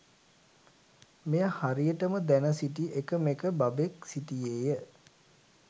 මෙය හරියටම දැන සිටි එකම එක බබෙක් සිටියේය.